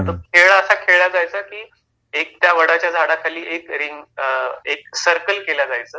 खेळ असा खेळला जाईचा की, एक त्या वडाच्या झाडा खाली एक रिंग अ, एक सर्कल केलं जायचं